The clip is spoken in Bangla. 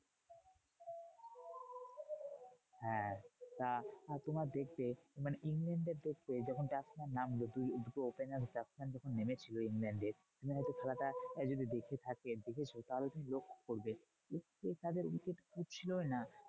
হ্যাঁ এটা তোমার দেখবে মানে ইংল্যান্ডদের দেখবে, যখন batsman নামলো দুই দুটো opener batsman যখন নেমেছিল ইংল্যান্ডের তুমি হয়তো খেলাটা আহ যদি দেখে থাকেন। দেখেছো তাহলে তুমি লক্ষ্য করবে, তাদের wicket ছিলই না।